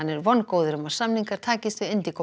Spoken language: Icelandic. er vongóður um að samningar takist við